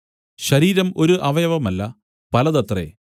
ശരീരം ഒരു അവയവമല്ല പലതത്രേ